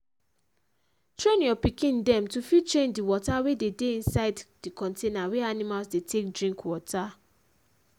train your pikin dem to fit change d water wey de dey inside the container wey animals dey take drink water